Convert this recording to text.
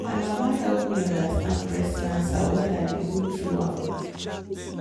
my mama help me understand breast cancer when i dey go through am.